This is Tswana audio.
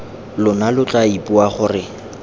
lona lo tla ipua gore